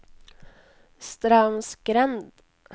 Straumsgrend